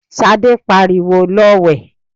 Sadé pariwo, 'Lọ wẹ̀!'